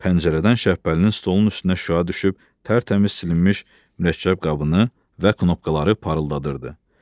Pəncərədən Şəhbəlinin stolunun üstünə şüa düşüb tərtəmiz silinmiş mürəkkəb qabını və knopkaları parıldadırdı.